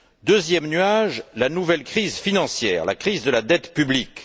Deuxième nuage, la nouvelle crise financière, la crise de la dette publique.